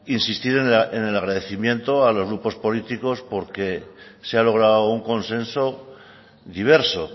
insistir en el agradecimiento a los grupos políticos porque se ha logrado un consenso diverso